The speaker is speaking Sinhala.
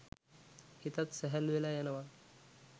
හිතත් සැහැල්ලු වෙලා යනවා.